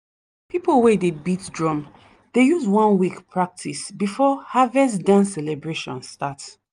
people wey dey beat drum dey use one week practice before harvest dance celebration start.